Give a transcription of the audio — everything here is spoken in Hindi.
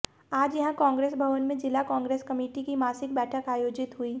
आज यहां कांग्रेस भवन में जिला कांग्रेस कमेटी की मासिक बैठक आयोजित हुई